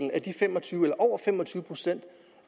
at over fem og tyve procent